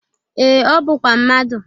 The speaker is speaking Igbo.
Ee, ọ bụkwa mmadụ.